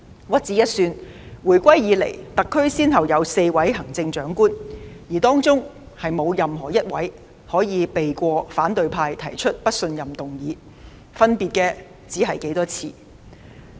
屈指一算，回歸以來，特區先後有4位行政長官，而當中沒有一位可以避過反對派提出的不信任議案，分別只在於多少次。